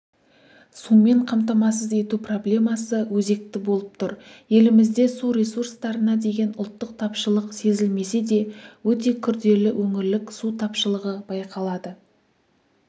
сумен қамтамасыз ету проблемасы өзекті болып тұр елімізде су ресурстарына деген ұлттық тапшылық сезілмесе де өте күрделі өңірлік су тапшылығы байқалады